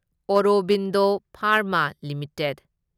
Aurobindo Pharma limited